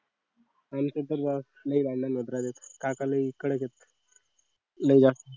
आयुष्यातील राग लय झालं काका लय कडक आहेत नाही का